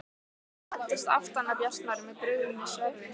Hann læddist aftan að Bjartmari með brugðnu sverði.